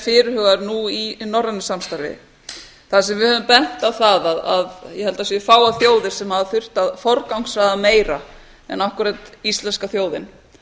fyrirhugaður nú í norrænu samstarfi þar sem við höfum bent á það að ég held að það séu fáar þjóðir sem hafa þurft að forgangsraða meira en akkúrat íslenska þjóðin